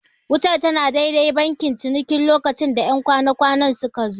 Wutar tana dai-dai bankin cinikin lokacin da 'yan kwana-kwanan suka zo.